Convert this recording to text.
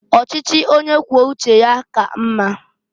Ọchịchị onye kwuo uche ya ka mma.